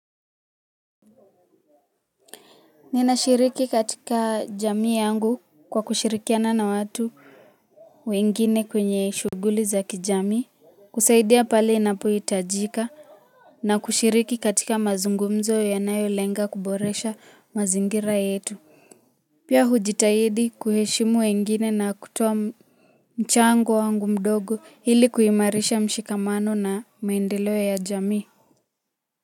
Ninashiriki katika jamii yangu kwa kushirikiana na watu wengine kwenye shughuli za kijamii kusaidia pale inapohitajika na kushiriki katika mazungumzo yanayolenga kuboresha mazingira yetu. Pia hujitahidi kuheshimu wengine na kutoa mchango wangu mdogo hili kuimarisha mshikamano na maendeleo ya jamii.